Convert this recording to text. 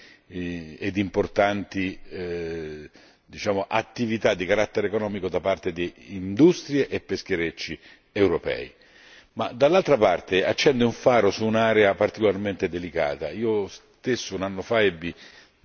in quell'area e grandi ed importanti attività di carattere economico da parte delle industrie e pescherecci europei, ma, dall'altra parte, accende un faro su un'area particolarmente delicata.